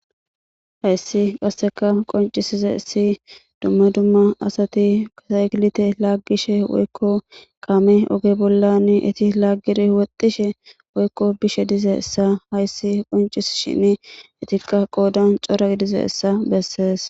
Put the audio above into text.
Hayssi qoncisizaysi dumma dumma asati biskiliite laaggishe woykko kaame oge bolla laaggidi woxxishin bishin eeti cora gidizayssa bessees.